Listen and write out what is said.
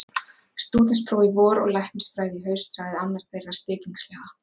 Stúdentspróf í vor og læknisfræði í haust sagði annar þeirra spekingslega.